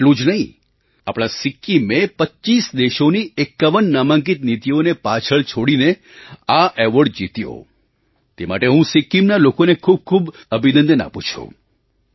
એટલું જ નહીં આપણા સિક્કિમે 25 દેશોની 51 નામાંકિત નીતિઓને પાછળ છોડીને આ એવૉર્ડ જીત્યો તે માટે હું સિક્કિમના લોકોને ખૂબખૂબ અભિનંદન આપું છું